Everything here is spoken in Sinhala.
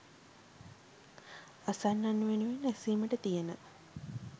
අසන්නන් වෙනුවෙන් ඇසීමට තියෙන